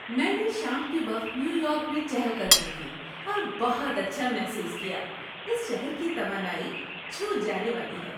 میں نے شام کے وقت نیویارک میں چہل قدمی کی اور بہت اچھا محسوس کیا۔ اس شہر کی توانائی چھو جانے والی ہے۔